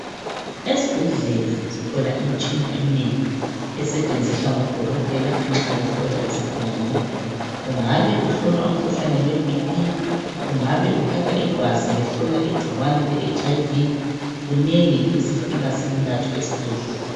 Esibhedlela sithola imitshina eminengi esetshenziswa ngodokotela nxa behlola izigulane. Ungabe uhlolwa umkhuhlane webp ungane uthathwa igazi kuhlolwa umkhuhlane weHIV.Kunengi esifika sikuhlolwe esibhedlela.